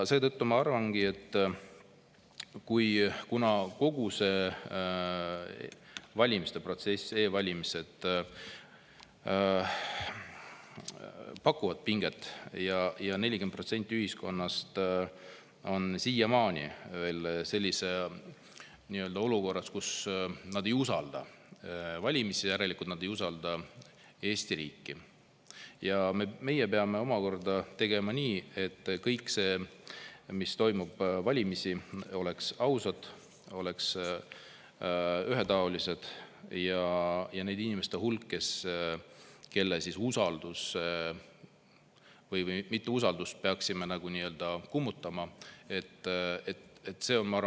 Seetõttu ma arvangi, et kuna kogu see valimiste protsess, meie e-valimised pakuvad pinget ja 40% ühiskonnast siiamaani ei usalda e-valimisi ja järelikult nad ei usalda Eesti riiki, siis me peame tegema nii, et valimised oleks ausad, oleks ühetaolised ja nende inimeste hulk, kelle mitteusaldust me peaksime nagu kummutama,.